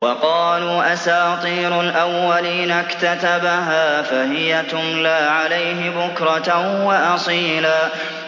وَقَالُوا أَسَاطِيرُ الْأَوَّلِينَ اكْتَتَبَهَا فَهِيَ تُمْلَىٰ عَلَيْهِ بُكْرَةً وَأَصِيلًا